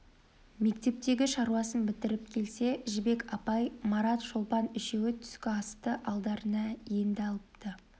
мектептегі шаруасын бітіріп келсе жібек апай марат шолпан үшеуі түскі асты алдарына енді алыпты